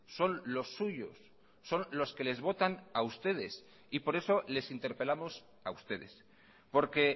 son los suyos son los que les votan a ustedes y por eso les interpelamos a ustedes porque